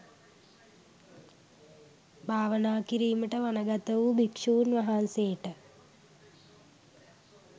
භාවනා කිරීමට වනගත වූ භික්‍ෂූන් වහන්සේට